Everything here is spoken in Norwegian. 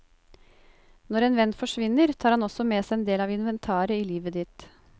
Når en venn forsvinner, tar han også med seg en del av inventaret i livet ditt.